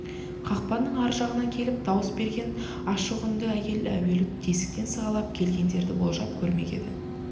қақпаның ар жағынан келіп дауыс берген ашық үнді әйел әуелі тесіктен сығалап келгендерді болжап көрмек еді